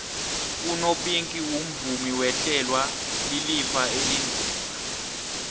unopinki umvumi owehlelwa lilifa elinzima